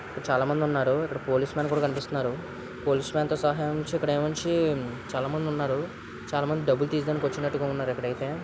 చాలా మంది ఉన్నారు ఇక్కడ పోలీస్ లు కూడా కనిపిస్తున్నారు .పోలీస్ లతో చాలా మంది ఉన్నారు. చాలా మంది డబ్బులు తీయడానికి వచ్చినట్టు ఉన్నారు. ఇక్కడ అయితే .